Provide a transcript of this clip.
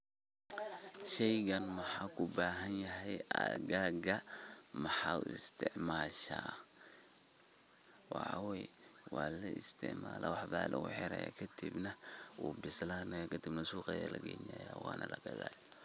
Sheeygan waxawaye u bahanyahay aag maxa u isticmashaa waxaway Wala isticmalah waxa ba lagu xeerah kadib wuubislanaya kadib suuqa Aya lageynaya Wana laga kathaya.